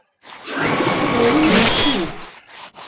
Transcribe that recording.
Ti moj Rus ti.